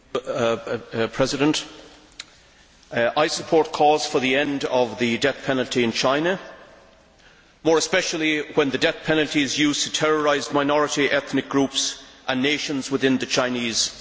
Mr President, I support calls for the end of the death penalty in China, more especially when the death penalty is used to terrorise minority ethnic groups and nations within the Chinese state.